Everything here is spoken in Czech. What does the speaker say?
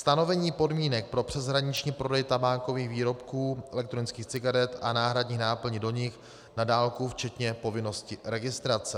Stanovení podmínek pro přeshraniční prodej tabákových výrobků, elektronických cigaret a náhradních náplní do nich na dálku včetně povinnosti registrace.